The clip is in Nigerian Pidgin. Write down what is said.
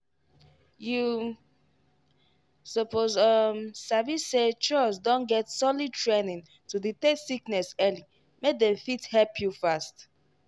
you suppose um sabi say chws don get solid training to detect sickness early make dem fit help you fast.